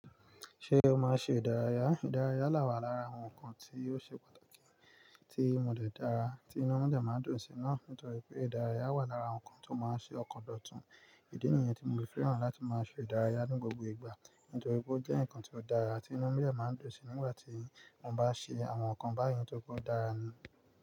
Ṣé o máa ń ṣe ìdárayá? Ìdárayá là wà lára àwọn ǹkan tí ó ṣe pàtàkì, tí mọ̀ de dára, tí inú mi dẹ̀ máa ń dùn sí i náà. Nítorí pé ìdárayá wà lára àwọn ǹkan tó máa ń ṣe ọkàn dọ̀tun. Ìdí nìyẹn tí mo fi fẹ́ràn láti máa ṣe ìdárayá ní gbogbo ìgbà. Nítorí pé ó jẹ́ ǹkan ti ó dára tí inú mi dẹ̀ máa ń dùn sí i nígbà tí mo bá ń ṣe àwọn ǹkan báyìí nitori pe o dára ni.